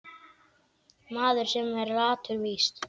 Maður, sem er latur víst.